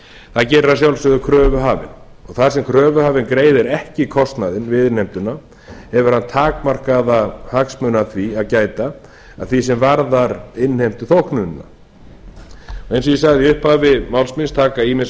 það gerir að sjálfsögðu kröfuhafinn þar sem kröfuhafinn greiðir ekki kostnaðinn við innheimtuna hefur hann takmarkaða hagsmuna af því að gæta að því sem varðar innheimtuþóknunina eins og ég sagði í upphafi máls míns taka ýmis